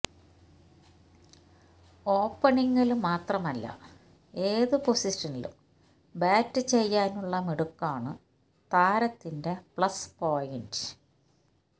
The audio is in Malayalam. ഓപ്പണിങില് മാത്രമല്ല ഏതു പൊസിഷനിലും ബാറ്റ് ചെയ്യാനുള്ള മിടുക്കാണ് താരത്തിന്റെ പ്ലസ് പോയിന്റ്